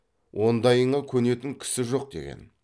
ондайыңа көнетін кісі жоқ деген